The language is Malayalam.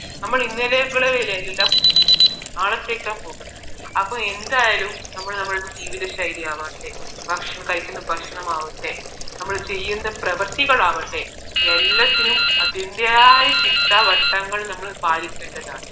നാളത്തെക്കാണ് നോക്കുന്നത് അപ്പോ എന്തായാലും നമ്മൾ നമ്മുടെ ജീവിത ശൈലി ആകട്ടെ ഭക്ഷണം കഴിക്കുന്ന ഭക്ഷണം ആകട്ടെ നമ്മൾ ചെയ്യുന്ന പ്രവൃത്തികളാകട്ടെ എല്ലാത്തിനും അതിന്റേതായ ചിട്ട വട്ടങ്ങൾ നമ്മൾ പാലിക്കേണ്ടതാണ്